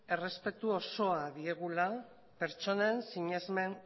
errespetu osoa diegula pertsonen sinesmen